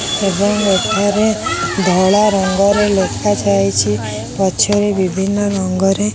ଏବଂ ଏଠାରେ ଧଳା ରଙ୍ଗରେ ଲେଖା ଯାଇଚି‌। ପଛରେ ବିଭିନ୍ନ ରଙ୍ଗରେ --